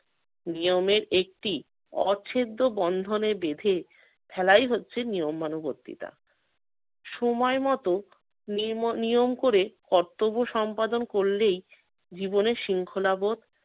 নিয়মের একটি অচ্ছেদ্য বন্ধনে বেঁধে ফেলাই হচ্ছে নিয়মানুবর্তিতা। সময়মতো নিঁম~ নিয়ম করে কর্তব্য সম্পাদন করলেই জীবনে শৃঙ্খলাবোধ